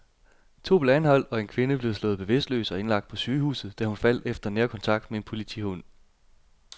To blev anholdt, og en kvinde blev slået bevidstløs og indlagt på sygehuset, da hun faldt efter nærkontakt med en politihund.